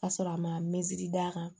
Ka sɔrɔ a ma mɛsiri d'a kan